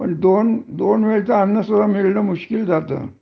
पण दोन वेळेच अन्न सुद्धा मिलन मुशिक्ल जात